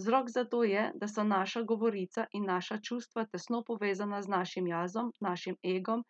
Vzrok za to je, da so naša govorica in naša čustva tesno povezana z našim jazom, našim egom